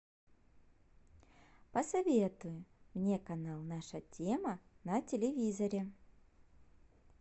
посоветуй мне канал наша тема на телевизоре